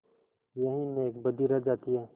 यही नेकबदी रह जाती है